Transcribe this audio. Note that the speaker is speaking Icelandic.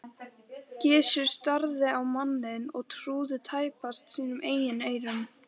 Gizur starði á manninn og trúði tæpast sínum eigin eyrum.